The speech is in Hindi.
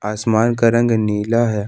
आसमान का रंग नीला है।